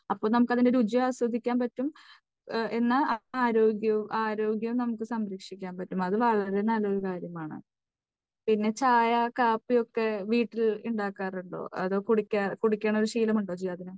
അപ്പോൾ നമുക്ക് അതിൻറെ രുചിയും ആസ്വദിക്കാൻ പറ്റും, എന്നാൽ ആരോഗ്യവും, ആരോഗ്യം നമുക്ക് സംരക്ഷിക്കാൻ പറ്റും. അത് വളരെ നല്ലൊരു കാര്യമാണ്. പിന്നെ ചായ, കാപ്പി ഒക്കെ വീട്ടിൽ ഉണ്ടാക്കാറുണ്ടോ? അതോ, കൂടിക്കാറ്, കുടിക്കണ ഒരു ശീലമുണ്ടോ ജിയാദിന്?